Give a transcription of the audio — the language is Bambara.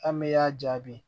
An mɛ y'a jaabi